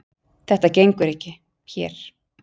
Þetta gengur ekki hér.